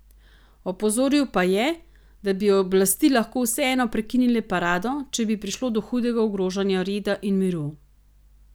Opozoril pa je, da bi oblasti lahko vseeno prekinile parado, če bi prišlo do hudega ogrožanja reda in miru.